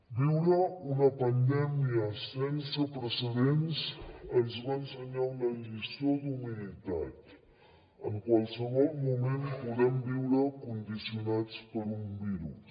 viure una pandèmia sense precedents ens va ensenyar una lliçó d’humilitat en qualsevol moment podem viure condicionats per un virus